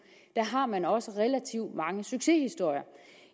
har man også relativt mange succeshistorier